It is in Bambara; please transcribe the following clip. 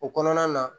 O kɔnɔna na